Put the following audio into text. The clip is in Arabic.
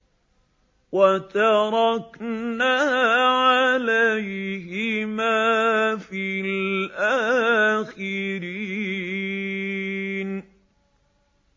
وَتَرَكْنَا عَلَيْهِمَا فِي الْآخِرِينَ